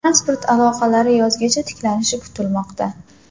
Transport aloqasi yozgacha tiklanishi kutilmoqda.